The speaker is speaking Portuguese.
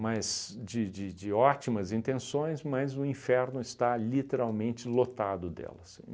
Mas, de de de ótimas intenções, mas o inferno está literalmente lotado delas.